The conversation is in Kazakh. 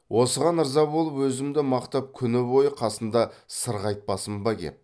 осыған ырза болып өзімді мақтап күні бойы қасында сырғайтпасын ба кеп